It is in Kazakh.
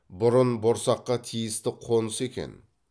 бұрын борсаққа тиісті қоныс екен